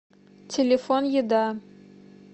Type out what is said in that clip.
телефон еда